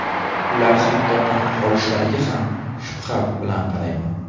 Ular hatto nafaqa olishlariga ham shubha bilan qarayman.